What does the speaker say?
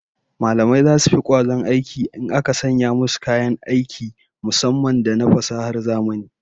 Mallamai zasu fi kwazon aiki in aka sanya musu kayan aiki musamman da na fasahar zamani